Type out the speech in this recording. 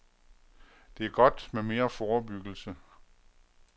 Det er godt med mere forebyggelse.